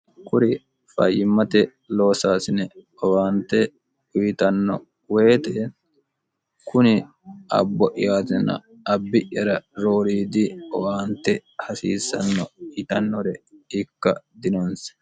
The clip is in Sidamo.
kuri fayyimmate loosaasine owaante uyitanno woyite kuni abbo'yaatina abbi'yara rooriidi owaante hasiissanno yitannore ikka dinoonse